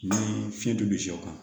Ni fiɲɛ don sɛw kama